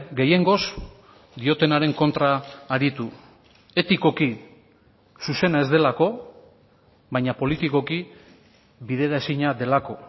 gehiengoz diotenaren kontra aritu etikoki zuzena ez delako baina politikoki bideraezina delako